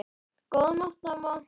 Góðan nótt, amma.